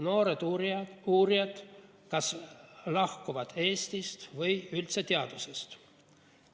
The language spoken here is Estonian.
Noored uurijad kas lahkuvad Eestist või üldse teadusest.